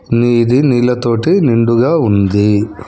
నీది నీళ్లతోటి నిండుగా ఉంది.